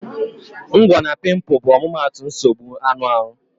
Ngwo na piimpu bụ omumatu nsogbu anụ arụ